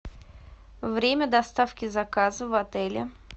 время доставки заказа в отеле